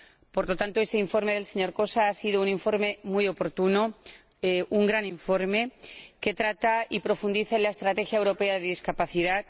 Por lo tanto, este informe del señor Kósa ha sido un informe muy oportuno, un gran informe, que trata y profundiza en la Estrategia Europea sobre Discapacidad.